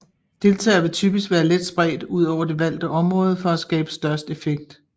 Deltagerne vil typisk være let spredt ud over det valgte område for at skabe størst effekt